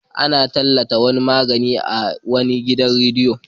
Ana tallata wani magani a wani gidan radiyo.